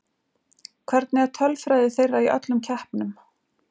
Hvernig er tölfræði þeirra í öllum keppnum?